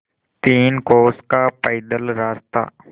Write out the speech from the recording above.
तीन कोस का पैदल रास्ता